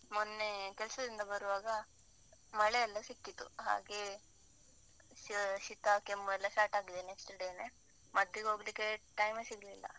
ಮೊನ್ನೆ ಕೆಲ್ಸದಿಂದ ಬರುವಾಗ, ಮಳೆ ಎಲ್ಲ ಸಿಕ್ಕಿತು. ಹಾಗೆ ಶೀತ, ಕೆಮ್ಮು ಎಲ್ಲ start ಆಗಿದೆ next day ನೇ ಮದ್ದಿಗೋಗ್ಲಿಕ್ಕೆ time ಯೇ ಸಿಗ್ಲಿಲ್ಲ.